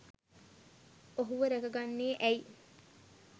ඔහුව රැක ගන්නේ ඇයි?